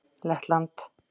Lettland